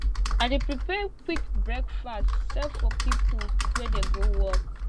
i dey prepare quick breakfast sell for pipo wey dey go work